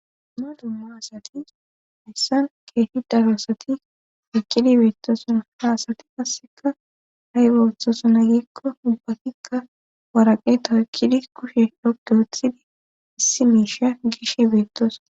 Duma dumma asati hessan keeshi daro asati ekkidi beettosona ha asati qasseka ha'y bawuthosona giikko ubbatikka waraqe tawekkidi kushe dhopdoothidi issi miisha gishe beettosa.